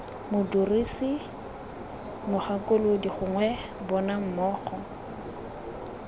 modirisi mogakolodi gongwe bona mmogo